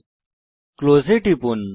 প্রস্থান করতে ক্লোজ এ টিপুন